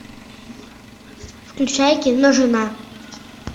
включай кино жена